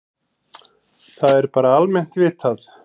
Það er bara almennt vitað.